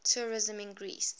tourism in greece